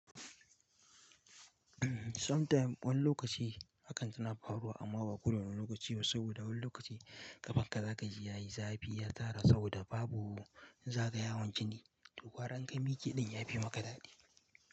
Sometimes wani lokaci hakan tana faruwa amma ba kowane wani lokaci ba saboda wani lokaci ƙafanka za ka ji yayi zafi ya tara saboda babu in zagayawan jini. To gara inka miƙe ɗin ya fi maka daɗi.